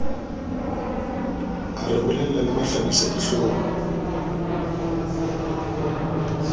a re bolella le mahlabisadihlong